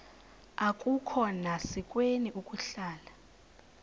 akukhona sikweni ukuhlala